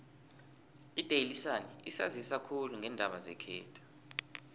idaily sun isanzisa khulu ngeendaba zekhethu